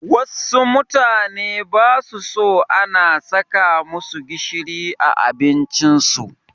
Wassu mutane basu so ana saka masu gishiri a abincin su